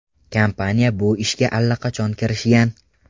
Kompaniya bu ishga allaqachon kirishgan.